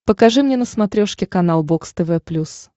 покажи мне на смотрешке канал бокс тв плюс